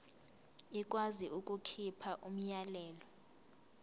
ikwazi ukukhipha umyalelo